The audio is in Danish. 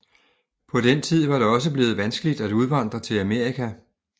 På denne tid var det også blevet vanskeligt at udvandre til Amerika